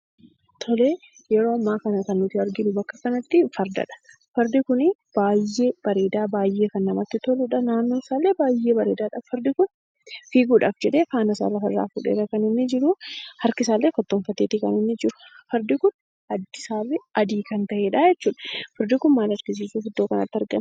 Tole yeroo ammaa kana kan nuti arginu bakka kanatti ,fardadha. Fardi kun baay'ee bareedaa; baay'ee kan namatti toluudha. Naannoon isaallee baay'ee bareedaadha. Fardi kun fiiguudhaaf jedhee faanasaa lafarraa fuudheedha kan inni jiru. Fardi kun harkisaallee kottoonfateeti kan inni jiru. Fardi kun addi isaallee adii kan ta'eedha jechuu dha. Fardi kun maal argisiisuuf iddoo kanatti argame?